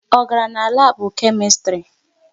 Ọ garala n'labu Kemistri?